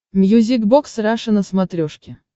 мьюзик бокс раша на смотрешке